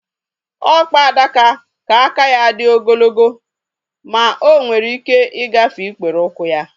Ọkpa adaka ka aka ya dị ogologo ma onwere ike ịgafe ikpere ụkwụ ya